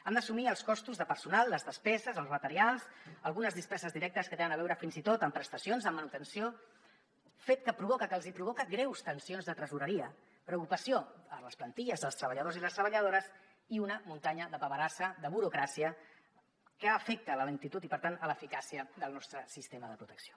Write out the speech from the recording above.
han d’assumir els costos de personal les despeses els materials algunes despeses directes que tenen a veure fins i tot amb prestacions amb manutenció fet que provoca que els hi provoca greus tensions de tresoreria preocupació per les plantilles dels treballadors i les treballadores i una muntanya de paperassa de burocràcia que afecta la lentitud i per tant l’eficàcia del nostre sistema de protecció